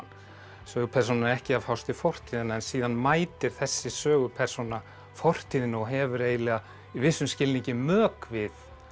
sögupersónan er ekki að fást við fortíðina en síðan mætir þessi sögupersóna fortíðinni og hefur eiginlega í vissum skilningi mök við